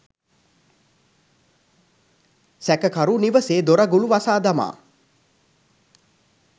සැකකරු නිවසේ දොරගුළු වසා දමා